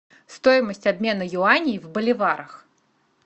стоимость обмена юаней в боливарах